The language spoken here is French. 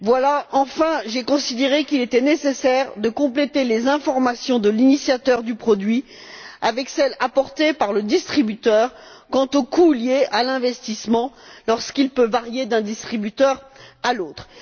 Pour finir, j'ai considéré qu'il était nécessaire de compléter les informations de l'initiateur du produit avec celles apportées par le distributeur quant aux coûts liés à l'investissement lorsqu'il peut varier d'un distributeur à l'autre.